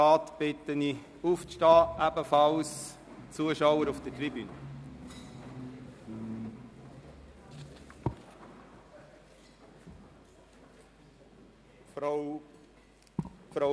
Ich bitte die restlichen Grossratsmitglieder und die Zuschauer auf der Tribüne, sich zu erheben.